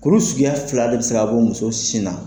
Kulu suguya fila de bɛ se k'a bɔ muso sin na